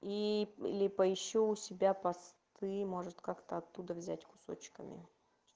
и или поищу у себя посты может как-то оттуда взять кусочками